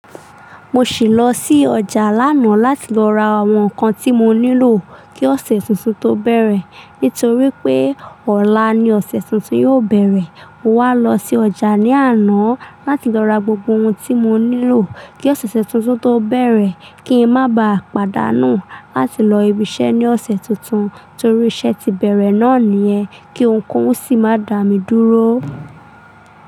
Mo ṣì lọ sí ọjà láná láti lọ ra àwọn nǹkan tí mo nílò kí ọ̀sẹ̀ tuntun tó bẹ̀rẹ̀. Nítorí pé ọ̀la ni ọ̀sẹ̀ tuntun yóò bẹ̀rẹ̀. Mo wá lọ sí ọjà ní àná láti lọ ra gbogbo ohun tí mo nílò, kí ọ̀sẹ̀ tuntun tó bẹ̀rẹ̀ kí n má ba pàdánù láti lọ ibi iṣẹ́ ní ọ̀sẹ̀ tuntun, torí iṣẹ́ ti bẹ̀rẹ̀ náà nìyẹn, kí ohunkóhun sì má dà mí dúró.